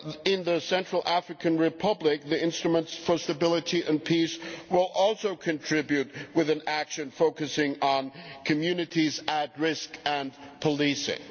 In the Central African Republic, the Instrument for Stability and Peace will also contribute with an action focusing on communities at risk and policing.